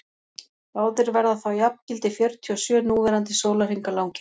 báðir verða þá jafngildi fjörutíu og sjö núverandi sólarhringa langir